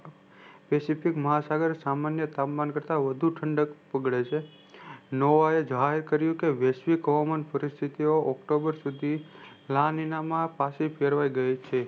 pacific મહાસાગર સામાન્ય તાપમાન વઘુ ઠંડક ઉગઢે છે norve એ જાહેર કર્યું કે વેશ્વિક હવામાન પરિસ્થિતિઓ october સુધી નાનીનામાં પાસે કેળવાઈ છે